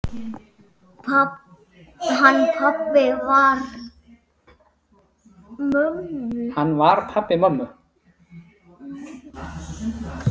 Hann var pabbi mömmu.